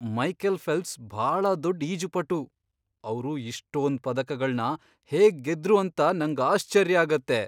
Michael Phelps ಭಾಳ ದೊಡ್ಡ್ ಈಜುಪಟು. ಅವ್ರು ಇಷ್ಟೊಂದ್ ಪದಕಗಳ್ನ ಹೇಗ್ ಗೆದ್ರು ಅಂತ ನಂಗಾಶ್ಚರ್ಯ ಆಗತ್ತೆ!